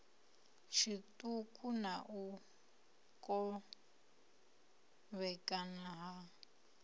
tshiṱuku na u kovhekana ha